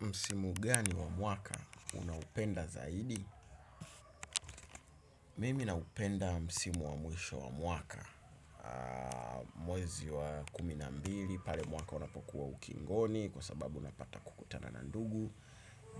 Msimu gani wa mwaka? Unaupenda zaidi? Mimi naupenda msimu wa mwisho wa mwaka. Mwezi wa kumi na mbili, pale mwaka unapokuwa ukingoni, kwa sababu unapata kukutana na ndugu,